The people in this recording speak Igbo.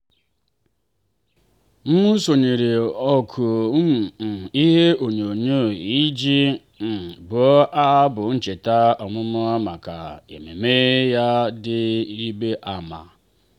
m sonyeere oku um ihe ononyoo iji um bụọ abụ ncheta ọmụmụ maka ememme ya dị ịrịba ama.